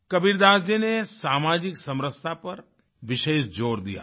कबीरदास जी ने सामाजिक समरसता पर विशेष जोर दिया था